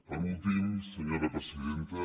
per últim senyora presidenta